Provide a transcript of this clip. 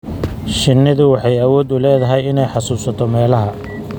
Shinnidu waxay awood u leedahay inay xasuusato meelaha.